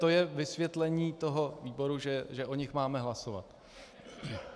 To je vysvětlení toho výboru, že o nich máme hlasovat.